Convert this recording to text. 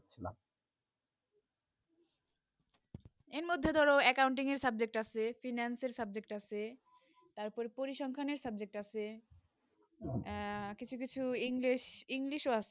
এর মদদে ধরো accounting এ subject আছে finance এ subject আছে তার পড়ে পরিসংখ্যানে আছে উহ কিছু কিছু english english ও আছে